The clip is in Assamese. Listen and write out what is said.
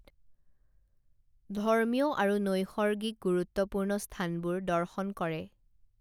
ধৰ্মীয় আৰু নৈসৰ্গিক গুৰুত্বপূৰ্ণ স্থানবোৰ দৰ্শন কৰে